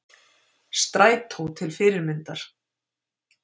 Strætó til fyrirmyndar